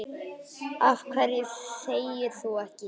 Af hverju þegir þú ekki?